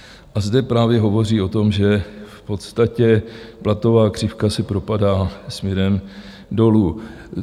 A zde právě hovoří o tom, že v podstatě platová křivka se propadá směrem dolů.